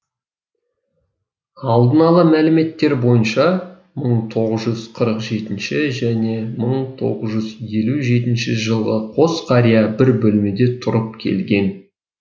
алдын ала мәліметтер бойынша мың тоғыз жүз қырық жетінші және мың тоғыз жүз елу жетінші жылы қос қария бір бөлмеде тұрып келген